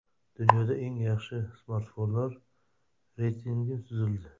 Dunyoda eng yaxshi smartfonlar reytingi tuzildi.